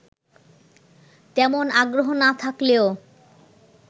তেমন আগ্রহ না থাকলেও